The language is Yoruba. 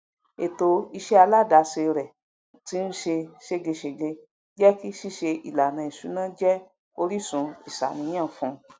ètò iṣẹ aládàáse rẹ tín ṣe ṣégegège jékí ṣíṣe ìlànà ìṣúná jẹ orísun ìṣàníyàn fún